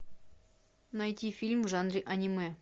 найти фильм в жанре аниме